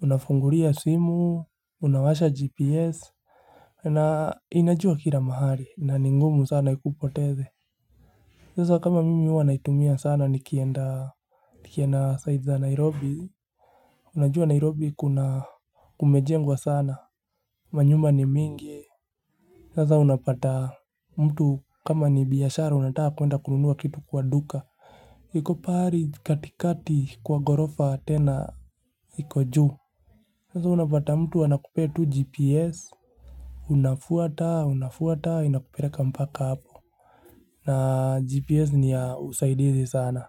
unafunguria simu unawasha gps na inajua kila mahali na ni ngumu sana ikupoteze sasa kama mimi huwa naitumia sana nikienda. Nikienda sides za Nairobi unajua nairobi kuna kumejengwa sana manyumba ni mingi sasa unapata mtu kama ni biashara unataka kuenda kununua kitu kwa duka. Iko pahari katikati kwa ghorofa tena. Iko juu sasa unapata anakupea tu gps unafuata unafuata inakupeleka mpaka hapo. Na GPS ni ya usaidizi sana.